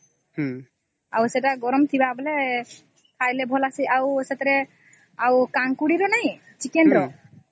ଆଉ ସେଟା ଗରମ ଥିବା ବେଳେ ଖାଇବା ବେଳେ ଆଉ ସେଟା କାଙ୍କୁଡ଼ି ର ନାଇଁ chicken ର